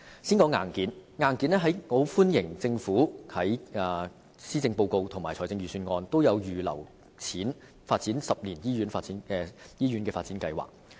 先說硬件，我歡迎政府在施政報告及預算案都有預留撥款，推行十年醫院發展計劃。